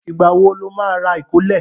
Ìgbà wo lo má rà ìkólẹ̀?